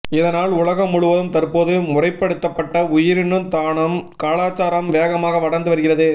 இதனால் உலகம் முழுவதும் தற்போது முறைப்படுத்தப்பட்ட உயிரணு தானம் கலாச்சாரம் வேகமாக வளர்ந்து வருகிறது